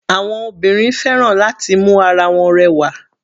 Àwọn obìnrin fẹ́ràn láti mu ara wọn rẹwà.